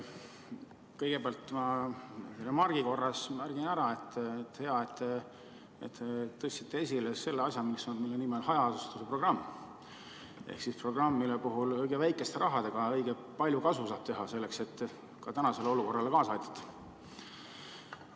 Kõigepealt ma remargi korras märgin ära, et hea, et te tõstsite esile selle asja, mille nimi on hajaasustuse programm ehk programm, mille puhul õige väikeste rahadega saab õige palju kasu teha selleks, et ka tänasele olukorrale kaasa aidata.